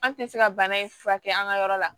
An tɛ se ka bana in furakɛ an ka yɔrɔ la